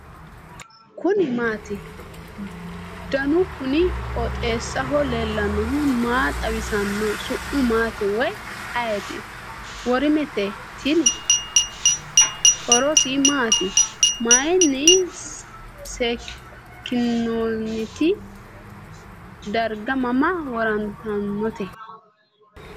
kuni maati ? danu kuni qooxeessaho leellannohu maa xawisanno su'mu maati woy ayeti ? worimete tini . horose maati ? mayinni seekkinoonnite ? darga mama worrannirichooti ?